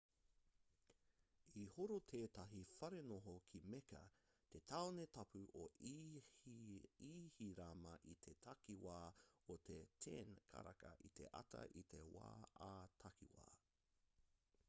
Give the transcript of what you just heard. i horo tētahi wharenoho ki mecca te tāone tapu o ihirama i te takiwā o te 10 karaka i te ata i te wā ā-takiwa